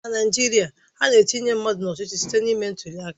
Na Naijiria, ana-etinye mmadụ n'ọchịchị site na ime ntuli aka.